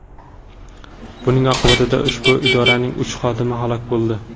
Buning oqibatida ushbu idoralarning uch xodimi halok bo‘ldi.